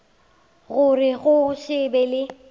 gore go se be le